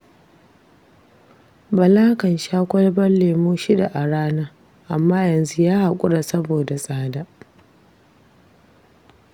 Bala kan sha kwalbar lemo shida a rana, amma yanzu ya haƙura saboda tsada.